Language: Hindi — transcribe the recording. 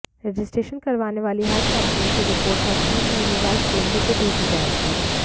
रजिस्ट्रेशन करवाने वाली हर कंपनी की रिपोर्ट हर तीन महीने बाद केंद्र को भेजी जाएगी